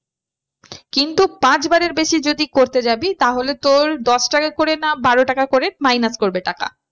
কিন্তু পাঁচবারের বেশি যদি করতে যাবি তাহলে তোর দশ টাকা করে না বারো টাকা করে minus করবে টাকা।